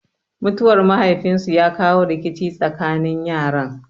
Mutuwar mahaifin su ya kawo rikici tsakanin yaran.